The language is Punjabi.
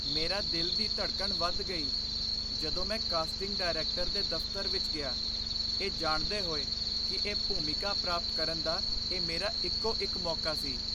ਮੇਰਾ ਦਿਲ ਦੀ ਧੜਕਣ ਵਧ ਗਈ, ਜਦੋਂ ਮੈਂ ਕਾਸਟਿੰਗ ਡਾਇਰੈਕਟਰ ਦੇ ਦਫ਼ਤਰ ਵਿੱਚ ਗਿਆ, ਇਹ ਜਾਣਦੇ ਹੋਏ ਕਿ ਇਹ ਭੂਮਿਕਾ ਪ੍ਰਾਪਤ ਕਰਨ ਦਾ ਇਹ ਮੇਰਾ ਇੱਕੋ ਇੱਕ ਮੌਕਾ ਸੀ।